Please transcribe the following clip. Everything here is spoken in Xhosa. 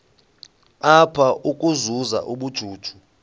apha ukuzuza ubujuju